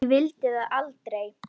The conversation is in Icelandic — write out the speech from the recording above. Ég vildi það aldrei.